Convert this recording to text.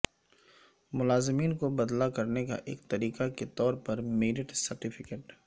ملازمین کو بدلہ کرنے کا ایک طریقہ کے طور پر میرٹ سرٹیفکیٹ